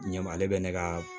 Ɲɛma ale bɛ ne ka